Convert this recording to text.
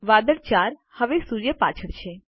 વાદળ 4 હવે સૂર્ય પાછળ છે